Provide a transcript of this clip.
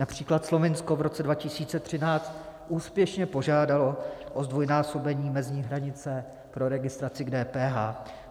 Například Slovinsko v roce 2013 úspěšně požádalo o zdvojnásobení mezní hranice pro registraci k DPH.